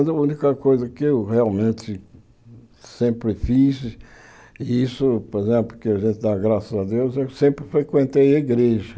a única coisa que eu realmente sempre fiz e isso, por exemplo, que a gente dá graças a Deus, eu sempre frequentei a igreja.